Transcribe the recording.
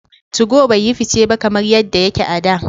2go bai yi fice ba kamar yadda yake a da.